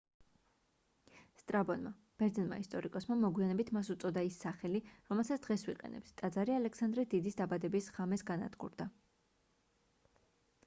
სტრაბონმა ბერძენმა ისტორიკოსმა მოგვიანებით მას უწოდა ის სახელი რომელსაც დღეს ვიყენებთ ტაძარი ალექსანდრე დიდის დაბადების ღამეს განადგურდა